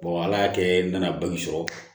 ala y'a kɛ n nana banki sɔrɔ